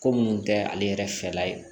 Ko minnu tɛ ale yɛrɛ fɛla ye